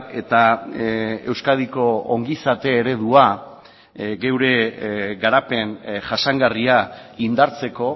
eta euskadiko ongizate eredua geure garapen jasangarria indartzeko